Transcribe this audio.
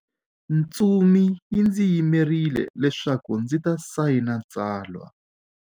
Ntsumi yi ndzi yimerile leswaku ndzi ta sayina tsalwa.